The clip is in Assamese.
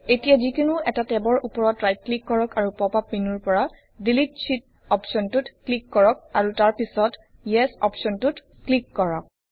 এতিয়া যিকোনো এটা টেবৰ উপৰত ৰাইট ক্লিক কৰক আৰু পপ আপ মেনুৰ পৰা ডিলিট শীত অপশ্বনটোত ক্লিক কৰক আৰু তাৰ পিছত ইএছ অপশ্বনটোত ক্লিক কৰক